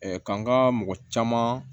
k'an ka mɔgɔ caman